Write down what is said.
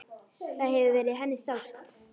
Það hefur verið henni sárt.